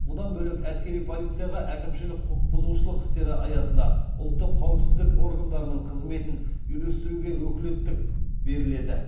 бұдан бөлек әскери полицияға әкімшілік құқық бұзушылық істері аясында ұлттық қауіпсіздік органдарының қызметін үйлестіруге өкілеттік беріледі